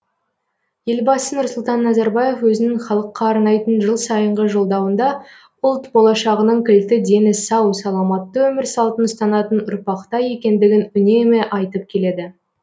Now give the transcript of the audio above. елбасы нұрсұлтан назарбаев өзінің халыққа арнайтын жылсайынғы жолдауында ұлт болашағының кілті дені сау саламатты өмір салтын ұстанатын ұрпақта екендігін үнемі айтып келеді